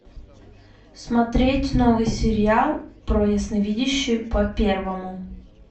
смотреть новый сериал про ясновидящую по первому